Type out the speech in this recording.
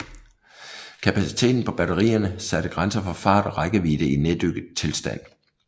Kapaciteten på batterierne satte grænser for fart og rækkevidde i neddykket tilstand